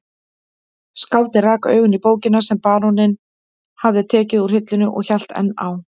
Skáldið rak augun í bókina sem baróninn hafði tekið úr hillunni og hélt enn á